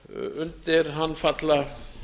undir hann falla